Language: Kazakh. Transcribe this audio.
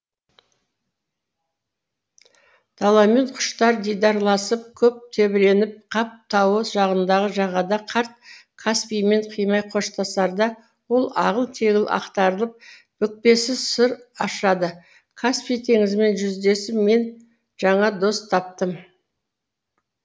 даламен құштар дидарласып көп тебіреніп қап тауы жағындағы жағада қарт каспиймен қимай қоштасарда ол ағыл тегіл ақтарылып бүкпесіз сыр ашады каспий теңізімен жүздесіп мен жаңа дос таптым